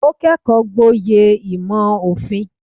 Ó kẹ́kọ̀ọ́ gboyè ìmò òfin.